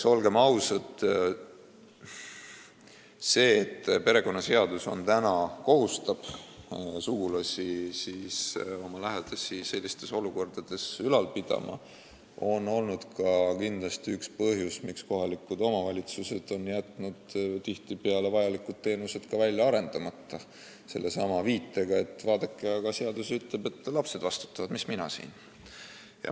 Olgem ausad, see, et perekonnaseadus kohustab sugulasi oma lähedasi sellistes olukordades ülal pidama, on olnud ka kindlasti üks põhjusi, miks kohalikud omavalitsused on jätnud tihtipeale vajalikud teenused välja arendamata, sellesama viitega, et vaadake, aga seadus ütleb, et lapsed vastutavad, mis siis mina siia puutun.